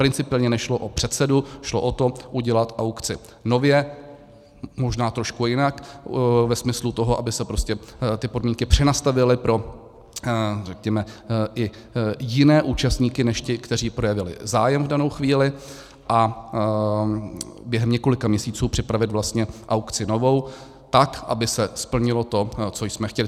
Principiálně nešlo o předsedu, šlo o to udělat aukci nově, možná trošku jinak ve smyslu toho, aby se prostě ty podmínky přenastavily pro, řekněme, i jiné účastníky než ty, kteří projevili zájem v danou chvíli, a během několika měsíců připravit vlastně aukci novou tak, aby se splnilo to, co jsme chtěli.